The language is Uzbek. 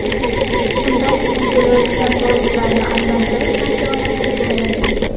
Undan keyin kelayotgan poyezdlarni aylantirish imkoniyati bo‘lmagan.